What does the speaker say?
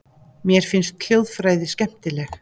Mér finnst hljóðfræði skemmtileg.